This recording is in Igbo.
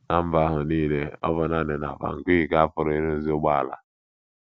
Ná mba ahụ nile, ọ bụ nanị na Bangui ka a pụrụ ịrụzi ụgbọala.